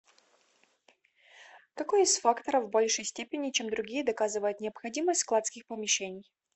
какой из факторов в большей степени чем другие доказывает необходимость складских помещений